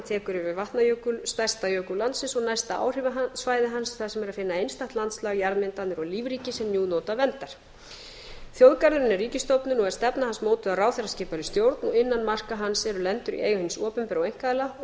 tekur yfir vatnajökul stærsta jökul landsins og næsta áhrifasvæði hans þar sem er að finna einstakt landslag jarðmyndanir og lífríki sem nú njóta verndar þjóðgarðurinn er ríkisstofnun og er stefna hans mótuð af ráðherraskipaðri stjórn og innan marka hans eru lendur í eigu hins opinbera og einkaaðila og